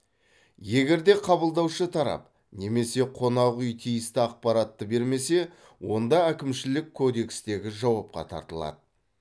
егер де қабылдаушы тарап немесе қонақүй тиісті ақпаратты бермесе онда әкімшілік кодекстегі жауапқа тартылады